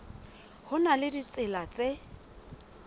ho na le ditsela tse